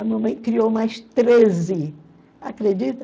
A mamãe criou mais treze, acredita?